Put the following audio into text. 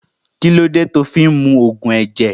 Kílódé tí o fí ń mu Ògùn ẹ̀jẹ̀